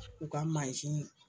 U ka